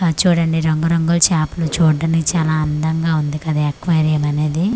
ఆ చూడండి రంగుల్ రంగుల్ చాపలు చూడడానికి చాలా అందంగా ఉంది కదా ఎక్వేరియం అనేది.